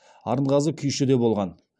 арынғазы күйші де болған